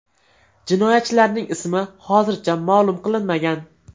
Jinoyatchilarning ismi hozircha ma’lum qilinmagan.